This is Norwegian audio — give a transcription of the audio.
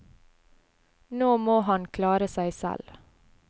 Nå må han klare seg selv.